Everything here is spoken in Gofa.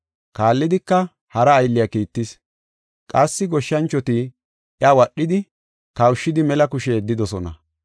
Kaallidika hara aylliya kiittis. Qassi goshshanchoti iya wadhidi, kawushidi mela kushe yeddidosona.